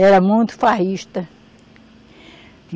Era muito farrista.